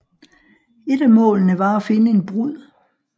Et af målene var at finde en brud